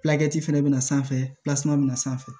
fɛnɛ bɛna sanfɛ bɛna sanfɛ